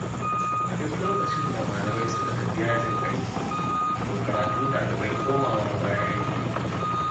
A duk lokacin da malamai suka tafi yajin aiki, to karatun ɗalibai komawa baya yake.